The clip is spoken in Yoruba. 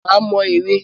Má mọ ère.